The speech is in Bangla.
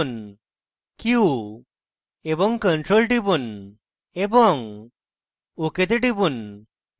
q এবং ctrl টিপুন এবং ok তে টিপুন